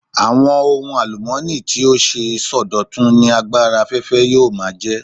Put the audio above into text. Àwọn ohun àlùmọ́ọ́nì tí ó ṣeé sọdọ̀tun ni agbára afẹ́fẹ́ yóò máa jẹ́.